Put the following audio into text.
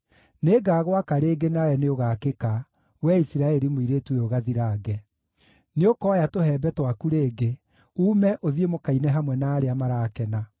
Nĩngagwaka rĩngĩ nawe nĩũgaakĩka, wee Isiraeli mũirĩtu ũyũ gathirange. Nĩũkooya tũhembe twaku rĩngĩ, uume ũthiĩ mũkaine hamwe na arĩa marakena.